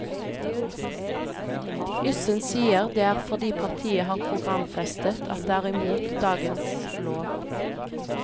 Yssen sier det er fordi partiet har programfestet at det er imot dagens lov.